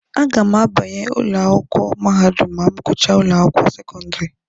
A ga m abanye ụlọ akwụkwọ mahadum ma m gụchaa ụlọ akwụkwọ sekọndịrị.